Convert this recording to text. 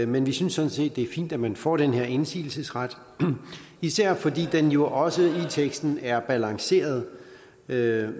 men vi synes sådan set det er fint at man får den her indsigelsesret især fordi den jo også i teksten er balanceret med